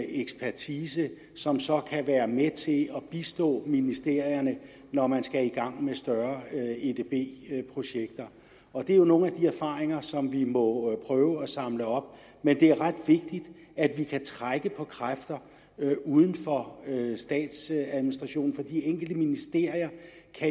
ekspertise som så kan være med til at bistå ministerierne når man skal i gang med større edb projekter og det er jo nogle af de erfaringer som vi må prøve at samle op men det er ret vigtigt at vi kan trække på kræfter uden for statsadministrationen for hvis de enkelte ministerier